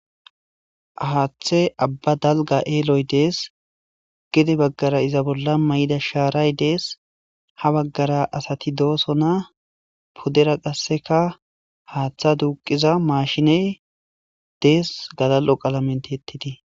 haaththe abba dalga eeloy dees gede baggara iza bolla may7ida shaaray dees ha baggara asati dooso na pudera qasseka haaththa duuqiza maashiney dees gadal7o qalamenti ettitii